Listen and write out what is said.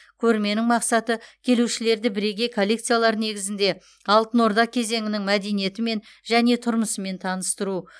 көрменің мақсаты келушілерді бірегей коллекциялар негізінде алтын орда кезеңінің мәдениетімен және тұрмысымен таныстыру